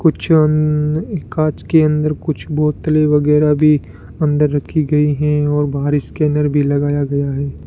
कुछ ऊं कांच के अंदर कुछ बोतले वगैरा भी अंदर रखी गई हैं और बाहर स्कैनर भी लगाया गया है।